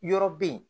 Yɔrɔ bɛ yen